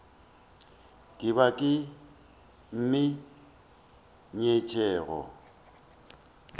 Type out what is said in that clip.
ke ba ba mo nyetšego